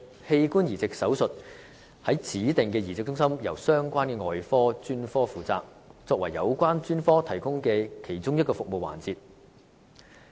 器官移植手術於指定的移植中心由相關的外科專科負責，作為有關專科提供的其中一個服務環節。